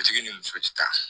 Sotigi ni muso tɛ taa